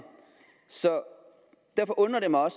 derfor undrer det mig